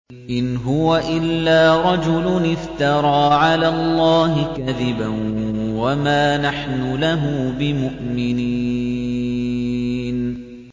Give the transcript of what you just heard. إِنْ هُوَ إِلَّا رَجُلٌ افْتَرَىٰ عَلَى اللَّهِ كَذِبًا وَمَا نَحْنُ لَهُ بِمُؤْمِنِينَ